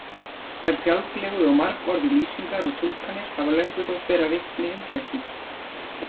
Þær fjálglegu og margorðu lýsingar og túlkanir hafa löngum þótt bera vitni um geðsýki.